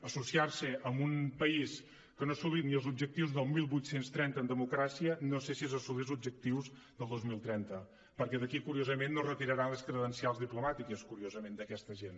associar se amb un país que no ha assolit ni els objectius del divuit trenta en democràcia no sé si és assolir els objectius del dos mil trenta perquè d’aquí curiosament no retiraran les credencials diplomàtiques curiosament d’aquesta gent